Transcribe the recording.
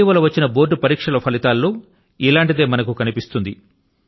ఇటీవల వచ్చిన బోర్డు పరీక్షల ఫలితాలలో ఇటువంటిదే మనకు కనిపిస్తుంది